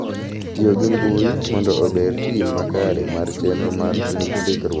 Tiyo gi mbui mondo ober tim makare mar chenro mar ndikruok.